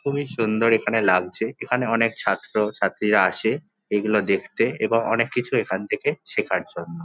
খুবই সুন্দর এখানে লাগছে। এখানে অনেক ছাত্র ছাত্রীরা আসে এইগুলো দেখতে এবং অনেক কিছু এখান থেকে শেখার জন্য।